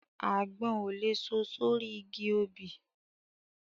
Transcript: Àgbọn ò lè so sórí igi obì